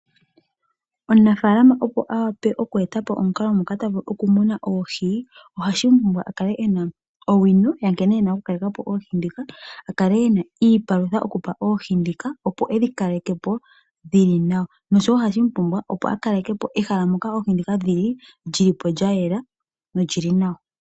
Omunafaalama opo a wape oku eta po omukalo moka ta vulu okumuna oohi oha pumbwa a kale e na owino ya nkene e na okukaleka po oohi ndhika, a kale e na iipalutha a pe oohi ndhika opo e dhi kaleke po dhili nawa nosho wo ohapumbwa opo a kaleke ehala moka oohi ndhika dhi li lya yela nolyili nawa.